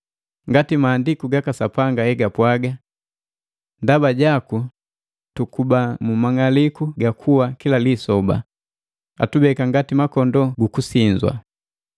Ngati maandiku gaka Sapanga hegapwaga, “Ndaba jaku tukuba mu mang'aliku ga kuwa kila lisoba, atubeka ngati makondoo gu kusinzwa.”